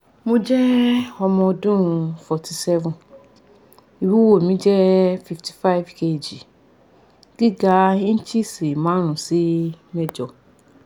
mo je omo odun forty seven iwuwo mi je fifty five kg giga inches marun si mejo